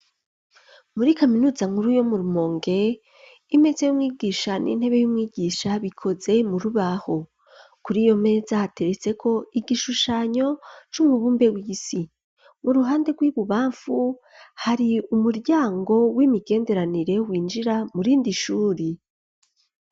Muri kaminuza nkuru yo mu Rumonge imeza y'umwigisha n'intebe y'umwigisha bikoze mu rubaho. Kuri iyo meza hateretseko igishushanyo c'umubumbe w'isi. Mu ruhande rw'ibubamfu hari umuryango w'imigenderanire winjira mu rindi ishuri.